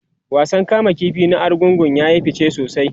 wasan kama ƙifi na argungu yayi fice sosai